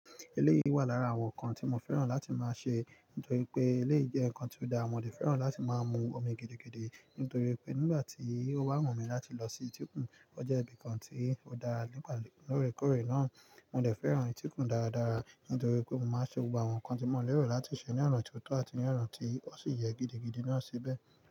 Eléyìí wà lára àwọn nǹkan tí mo fẹ́ràn láti máa ṣe, nítorí pé eléyìí jẹ́ nǹkan tí ó dára. Mo dẹ̀ fẹ́ràn láti máa mú omi gidi gidí, nítorí pé nígbà tí ó bá wù mí láti lọ sí tíkùn, ó jẹ́ ibi kan tí ó dára nígbàlóríkórè náà. Mo dẹ̀ fẹ́ràn ìtíkùn dáradára, nítorí pé mo máa ṣe gbogbo àwọn nǹkan tí mo lérò láti ṣe ní ọ̀ràn tó tọ́ àti ní ọ̀ràn tí ó sì yẹ gidigidi náà síbẹ̀.